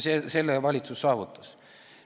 Selle on valitsus saavutanud.